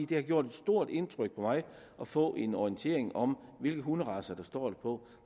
det har gjort et stort indtryk på mig at få en orientering om hvilke hunderacer der står på